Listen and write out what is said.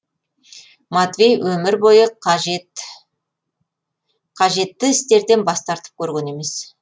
матвей өмір бойы қажетті істерден бас тартып көрген емес